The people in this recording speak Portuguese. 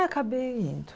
Acabei indo.